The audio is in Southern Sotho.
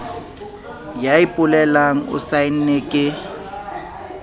ya ipolelang o saenne ke